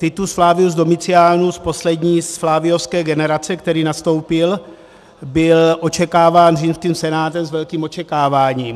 Titus Flavius Domitianus - poslední z flaviovské generace, který nastoupil - byl očekáván římským senátem s velkým očekáváním.